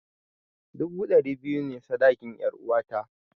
Dubu dari biyu ne sadakin 'yaruwata.